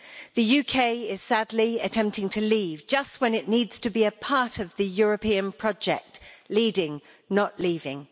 The UK is sadly attempting to leave just when it needs to be a part of the European project, leading not leaving.